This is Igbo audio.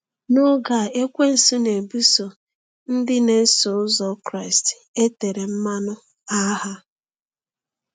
N’oge a, ekwensu na-ebuso ndị na-eso ụzọ Kraịst e tere mmanụ agha.